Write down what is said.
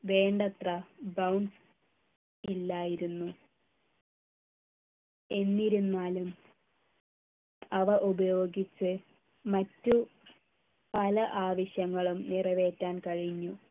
വേണ്ടത്ര bounce ഇല്ലായിരുന്നു എന്നിരുന്നാലും അവ ഉപയോഗിച്ച് മറ്റ് പല ആവശ്യങ്ങളും നിറവേറ്റാൻ കഴിഞ്ഞു